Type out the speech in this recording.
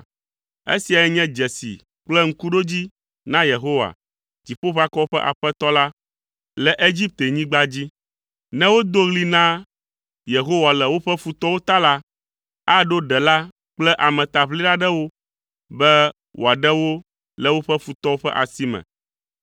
Esiae nye dzesi kple ŋkuɖodzi na Yehowa, Dziƒoʋakɔwo ƒe Aƒetɔ la, le Egiptenyigba dzi. Ne wodo ɣli na Yehowa le woƒe futɔwo ta la, aɖo ɖela kple ametaʋlila ɖe wo be wòaɖe wo le woƒe futɔwo ƒe asi me.